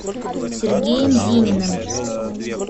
сергеем зининым